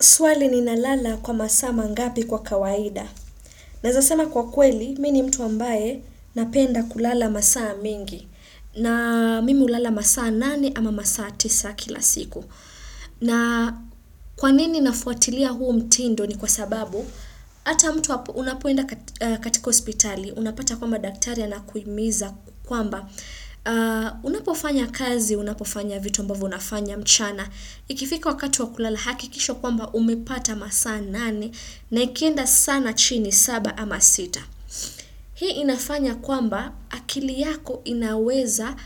Swali ni nalala kwa masaa mangapi kwa kawaida. Naezasema kwa kweli, mi ni mtu ambaye napenda kulala masaa mingi. Na mimi ulala masaa nane ama masaa tisa kila siku. Na kwanini nafuatilia huu mtindo ni kwa sababu, ata mtu unapoenda katika hospitali, unapata kwamba daktaria na kuimiza kwamba. Unapofanya kazi, unapofanya vitu ambavyo unafanya mchana. Ikifika wakatu wakulala hakikisha kwamba umepata masaa nane na ikienda sana chini saba ama sita. Hii inafanya kwamba akili yako inaweza